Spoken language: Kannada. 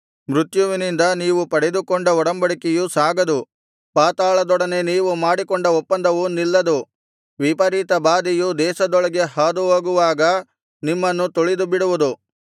ಮೃತ್ಯುವಿನಿಂದ ನೀವು ಪಡೆದುಕೊಂಡ ಒಡಂಬಡಿಕೆಯು ಸಾಗದು ಪಾತಾಳದೊಡನೆ ನೀವು ಮಾಡಿಕೊಂಡ ಒಪ್ಪಂದವು ನಿಲ್ಲದು ವಿಪರೀತ ಬಾಧೆಯು ದೇಶದೊಳಗೆ ಹಾದುಹೋಗುವಾಗ ನಿಮ್ಮನ್ನು ತುಳಿದುಬಿಡುವುದು